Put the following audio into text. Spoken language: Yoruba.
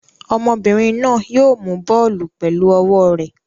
Obìnrin náà yóò mú bọ́ọ́lù pẹ̀lú ọwọ́ rẹ̀.